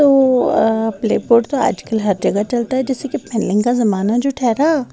तो अ प्ले पोट तो आजकल हर जगह चलता है जैसे की का जमाना जो ठहेरा--